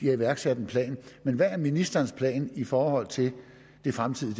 har iværksat en plan men hvad er ministerens plan i forhold til det fremtidige